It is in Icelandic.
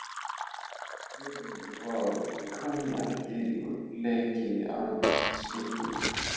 En það kom leki að skipinu.